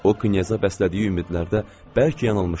O knyaza bəslədiyi ümidlərdə bəlkə yanılmışdı.